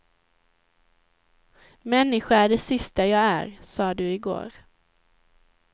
Människa är det sista jag är, sa du igår.